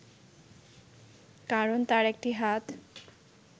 কারণ তার একটি হাত